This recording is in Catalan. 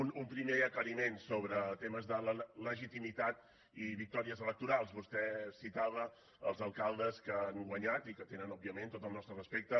un primer aclariment sobre temes de legitimitat i victòries electorals vostè citava els alcaldes que han guanyat i que tenen òbviament tot el nostre respecte